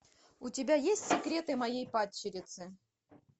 у тебя есть секреты моей падчерицы